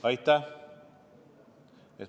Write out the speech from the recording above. Aitäh!